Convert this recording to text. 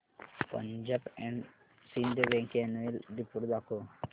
Punjab and Sind bank annual report दाखव